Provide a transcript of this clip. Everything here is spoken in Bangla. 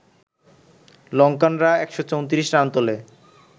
লঙ্কানরা ১৩৪ রান তোলে